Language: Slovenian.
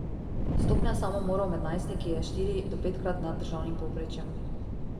Stopnja samomorov med najstniki je štiri do petkrat nad državnim povprečjem.